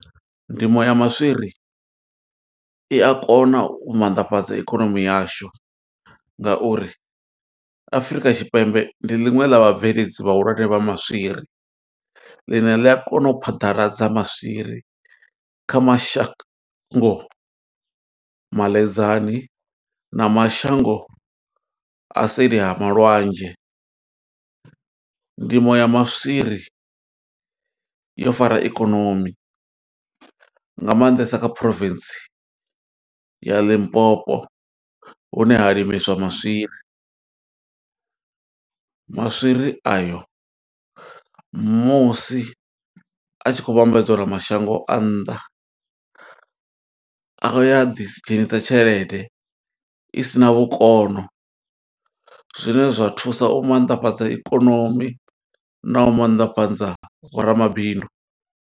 Ndimo ya maswiri i a kona u mannḓafhadza ikonomi yashu, nga uri Afurika Tshipembe ndi ḽiṅwe ḽa vhabveledzi vhahulwane vha maswiri. Ḽine ḽi a kona u phaḓaladza maswiri kha mashango maḽedzani na mashango a seli ha malwadzhe. Ndimo ya maswiri yo fara ikonomi, nga maanḓesa kha province ya Limpopo hune ha limeswa maswiri. Maswiri ayo, musi a tshi khou vhambedzwa na mashango a nnḓa, a ya a ḓi dzhenisa tshelede isina vhukono. Zwine zwa thusa u mannḓafhadza ikonomi, na u maanḓafhadza vhoramabindu.